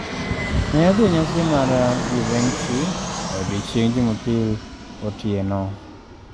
Ne odhi e nyasi mar Givenchy e odiechieng’ Jumapil otieno.